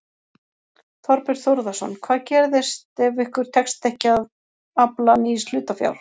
Þorbjörn Þórðarson: Hvað gerist ef ykkur tekst ekki að afla nýs hlutafjár?